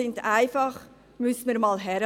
Dort müsste man einfach einmal hinschauen.